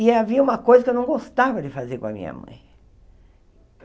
E havia uma coisa que eu não gostava de fazer com a minha mãe.